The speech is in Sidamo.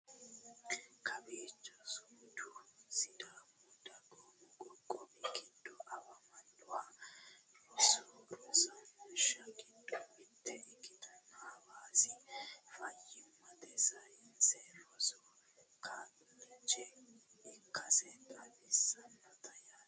kowiicho sumudu sidaamu dagoomu qoqqowi giddo afamannoha rosu uurrinsha giddo mitto ikkinoha hawaasi fayyimmate sayiinse rosi kollejje ikkase xawissannote yaate